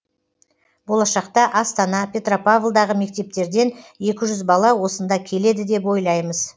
болашақта астана петропавлдағы мектептерден екі жүз бала осында келеді деп ойлаймыз